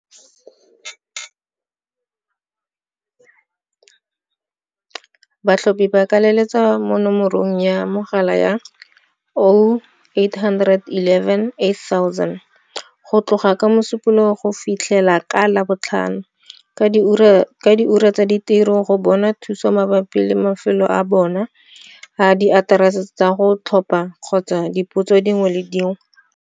Batlhophi ba ka letsetsa mo nomorong ya mogala ya, 0800 11 8000, go tloga ka Mosupologo go fitlhela ka Labotlhano ka diura tsa tiro go bona thuso mabapi le mafelo a bona a diaterese tsa go tlhopha kgotsa dipotso dingwe le dingwe.